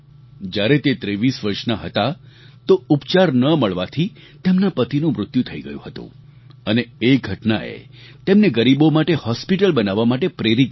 જ્યારે તે 23 વર્ષના હતા તો ઉપચાર ન મળવાથી તેમના પતિનું મૃત્યુ થઈ ગયું હતું અને એ ઘટનાએ તેમને ગરીબો માટે હોસ્પિટલ બનાવવા માટે પ્રેરિત કર્યા